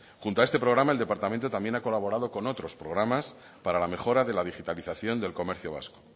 junto a este programa el departamento también ha colaborado con otros programas para la mejora de la digitalización del comercio vasco